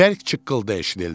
Bərk çıqqıltı eşidildi.